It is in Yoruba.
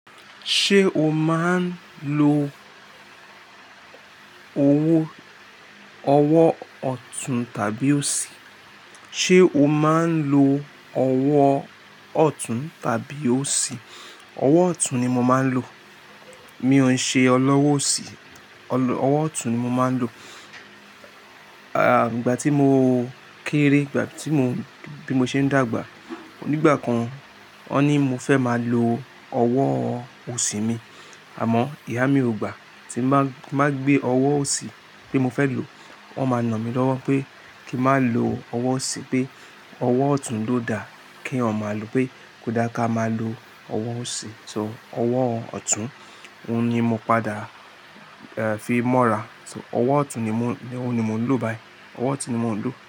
Ṣé o máa ń lo owó, ọwọ́ ọ̀tún tàbí òsì? Ṣé o máa ń lo ọwọ́ ọ̀tún tàbí òsì? Ọwọ́ ọ̀tún ni mo máa ń lò. Mi ò ń ṣe ọlọ́wọ́ òsì. Ọlọ-- ọwọ́ ọ̀tún ni mo máa ń lò. Ah! Ìgbà tí mo kéré, ìgbà tí mo, bí mo ṣe ń dàgbà, nígbà kan, wọ́n ní mo fẹ́ máa lo ọwọ́ òsì mi. Àmọ́, ìyá mi ò gbà. Tí n bá, tí n bá gbé ọwọ́ òsì pé mo fẹ́ lò, wọ́n máa nà mí lọ́wọ́ pé kí má lo ọwọ́ òsì pé ọwọ́ ọ̀tún ló da kí èèyàn ma à lo pé kò dá ká máa lo ọwọ́ òsì. So ọwọ́ ọ̀tún, òun ni mo padà, e, fi mọ́ra. So ọwọ́ ọ̀tún ni mó, ní òun ni mò ń lò báyìí. Ọwọ́ ọ̀tún ni mò ń lò.